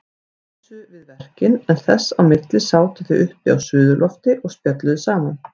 Dísu við verkin en þess á milli sátu þau uppi á suðurlofti og spjölluðu saman.